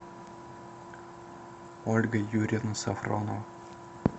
ольга юрьевна сафронова